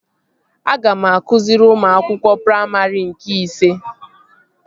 Aga m akụziri ụmụ akwụkwọ praimarị nke ise